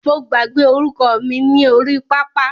Mo gbàgbé orúkọ mi ni orí pápá.